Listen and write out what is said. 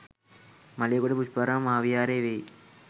මලේගොඩ පුෂ්පාරාම මහා විහාරය වෙයි.